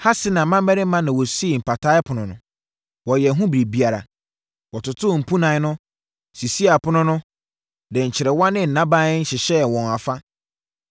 Hasenaa mmammarima na wɔsii Mpataa Ɛpono no. Wɔyɛɛ ho biribiara. Wɔtotoo mpunan no, sisii apono no, de nkyerewa ne nnaban hyehyɛɛ wɔn afa.